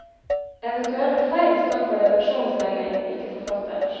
Eventuelle feil står for redaksjonens regning, ikke forfatterens.